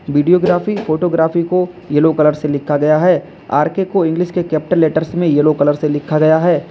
Video graphy photography को yellow colour से लिखा गया है आर के को इंग्लिश के कैपिटल लेटर्स में येलो कलर से लिखा गया है।